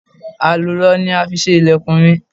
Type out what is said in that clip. Àlùrọ ni a fi ṣe ilẹ̀kùn mi.